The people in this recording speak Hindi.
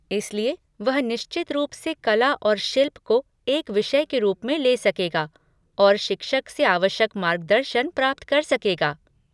इसलिए, वह निश्चित रूप से कला और शिल्प को एक विषय के रूप में ले सकेगा और शिक्षक से आवश्यक मार्गदर्शन प्राप्त कर सकेगा।